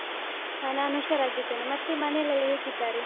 ಹಾ ನಾನ್ ಹುಷಾರಾಗಿದ್ದೇನೆ. ಮತ್ತೇ ಮನೇಲೆಲ್ಲ ಹೇಗಿದ್ದಾರೆ?